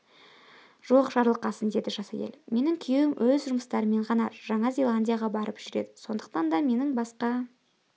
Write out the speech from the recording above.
жоқ жарылқасын деді жас әйел менің күйеуім өз жұмысымен ғана жаңа зеландияға барып жүреді сондықтан да менің басқа